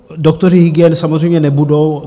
Doktoři hygien samozřejmě nebudou.